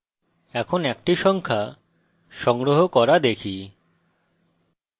এখন একটি সংখ্যা সংগ্রহ করা দেখি